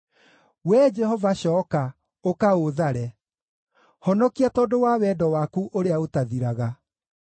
Wee Jehova, cooka, ũka ũũthare; honokia tondũ wa wendo waku ũrĩa ũtathiraga.